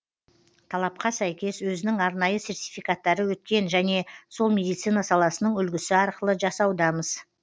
талапқа сәйкес өзінің арнайы сертификаттары өткен және сол медицина саласының үлгісі арқылы жасаудамыз